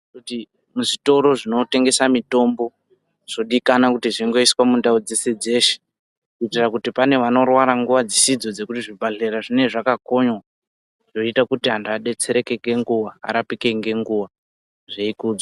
Muzvitoro zvinotengesa mitombo zvodikanwa kuti zvingoiswa mundau dzese dzeshe, kuitira kuti pane vanorwara nguva dzisidzo dzekuti zvibhedlera zvinenge zvakakonywa zviita kuti anhu adetsereke ngenguva, arapike ngenguva zviyikudzwa.